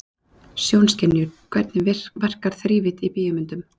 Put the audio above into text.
Sjónskynjun Hvernig verkar þrívídd í bíómyndum?